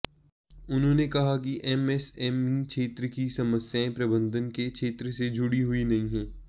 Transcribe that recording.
उन्होंने कहा कि एमएसएमई क्षेत्र की समस्याएं प्रबंधन के क्षेत्र से जुड़ी हुई नहीं हैं